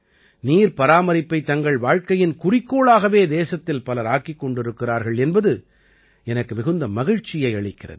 நீர்ப்பராமரிப்பைத் தங்கள் வாழ்க்கையின் குறிக்கோளாகவே தேசத்தில் பலர் ஆக்கிக் கொண்டிருக்கிறார்கள் என்பது எனக்கு மிகுந்த மகிழ்ச்சியை அளிக்கிறது